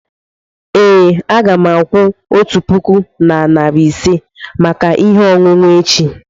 ee, a ga m akwụ otu puku na narị ise maka ihe ọṅụṅụ echi.